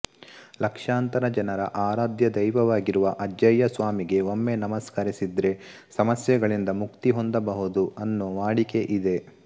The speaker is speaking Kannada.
ಲಕ್ಷಾಂತರ ಜನರ ಆರಾಧ್ಯ ದೈವಾವಾಗಿರುವ ಅಜ್ಜಯ್ಯ ಸ್ವಾಮಿಗೆ ಒಮ್ಮೆ ನಮಸ್ಕರಿಸಿದ್ರೆ ಸಮಸ್ಯೆಗಳಿಂದ ಮುಕ್ತಿ ಹೊಂದಬಹುದು ಅನ್ನೋ ವಾಡಿಕೆ ಇದೆ